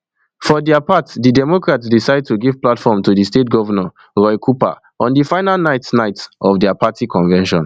for dia part di democrats decide to give platform to di state governor roy cooper on di final night night of dia party convention